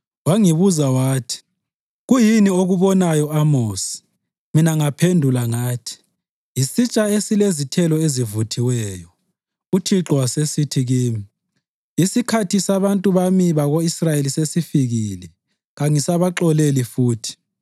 Wangibuza wathi, “Kuyini okubonayo, Amosi?” Mina ngaphendula ngathi, “Yisitsha esilezithelo ezivuthiweyo.” UThixo wasesithi kimi, “Isikhathi sabantu bami bako-Israyeli sesifikile; kangisabaxoleli futhi.